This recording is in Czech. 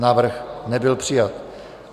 Návrh nebyl přijat.